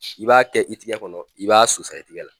I b'a kɛ i tigɛ kɔnɔ i b'a susa i tigɛ la.